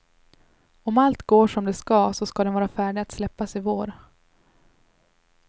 Om allt går som det ska så ska den vara färdig att släppas i vår.